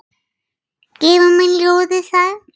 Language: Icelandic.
Gefur mér ljóðið samt.